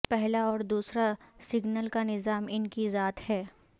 پہلا اور دوسرا سگنل کا نظام ان کی ذات ہے